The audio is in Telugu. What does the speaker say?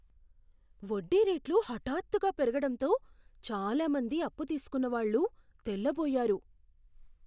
వడ్డీ రేట్లు హఠాత్తుగా పెరుగడంతో చాలా మంది అప్పు తీసుకున్నవాళ్ళు తెల్లబోయారు.